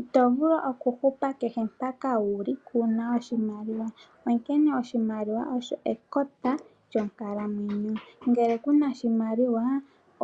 Ito vulu okuhupa kehe mpaka wuli kuna oshimaliwa. Onkene oshimaliwa osho ekota lyonkalamwenyo. Ngele kuna shimaliwa